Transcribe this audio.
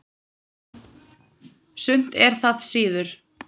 Sumt er það síður.